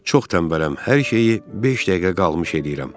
Çox tənbələm, hər şeyi beş dəqiqə qalmış eləyirəm.